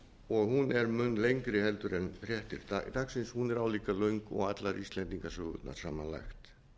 og hún er mun lengri heldur en fréttir dagsins hún er álíka löng og allar íslendingasögurnar samanlagt